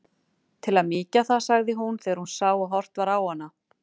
Til að mýkja það, sagði hún þegar hún sá að horft var á hana.